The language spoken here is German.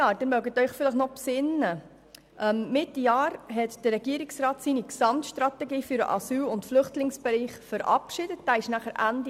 Mitte des letzten Jahres hat der Regierungsrat seine Gesamtstrategie für den Asyl- und Flüchtlingsbereich verabschiedet, wie Sie sich vielleicht erinnern können.